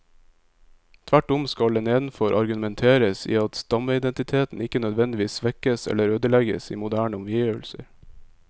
Tvert om skal det nedenfor argumenteres at stammeidentiteten ikke nødvendigvis svekkes eller ødelegges i moderne omgivelser.